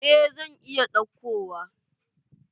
Eh zan iya ɗauko wa.